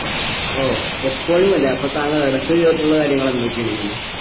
ഓഹ് എപ്പോഴും അല്ലെ അപ്പൊ താങ്കൾ ഇടക്ക് ജീവിതത്തിലുള്ള കാര്യങ്ങൾ എന്തൊക്കെയാണ്